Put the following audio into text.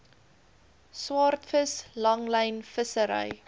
swaardvis langlyn vissery